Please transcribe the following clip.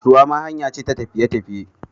Ruwa ma hanyake ta tafiye tafiye